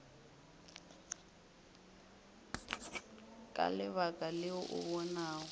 ka lebaka leo o bonago